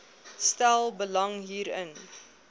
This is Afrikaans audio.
stel belang hierin